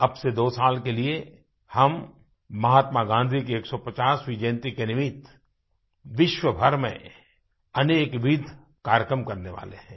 अब से 2 साल के लिए हम महात्मा गाँधी की 150वीं जयंती के निमित्त विश्वभर में अनेक विविध कार्यक्रम करने वाले हैं